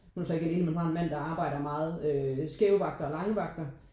Hun er så ikke alene men har en mand der arbejder meget øh skæve vagter og lange vagter